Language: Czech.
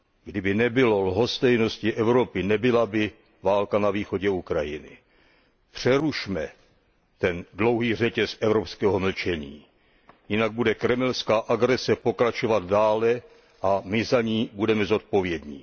Kdyby nebylo lhostejnosti Evropy, nebyla by válka na východě Ukrajiny. Přerušme ten dlouhý řetěz evropského mlčení, jinak bude kremelská agrese pokračovat dále a my za ní budeme zodpovědní.